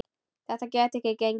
Þetta gæti ekki gengið.